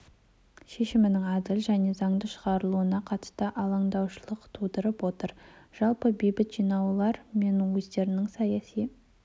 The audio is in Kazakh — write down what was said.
шешімінің әділ және заңды шығарылуына қатысты алаңдаушылық тудырып отыр жалпы бейбіт жиналулар мен өздерінің саяси